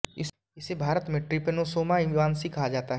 इसे भारत में trypanosoma evansi कहा जाता है